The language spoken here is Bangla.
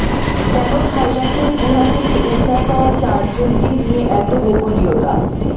কেন থাইল্যান্ডের গুহা থেকে উদ্ধার পাওয়া চারজনকে নিয়ে এত গোপনীয়তা